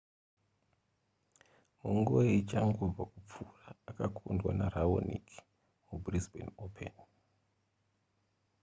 munguva ichangobva kupfuura akakundwa neraonic mubrisbane open